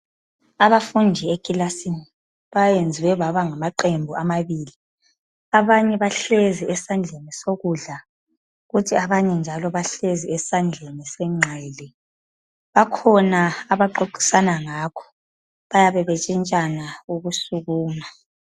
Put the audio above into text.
Abafundi ekilasini bayenzwe baba ngamaqembu amabili, abanye bahlezi esandleni sokudla kuthi abanye njalo bahlezi esandleni senxele, bakhona abaxoxisana ngakho bayabe betshintshana ukusukuma.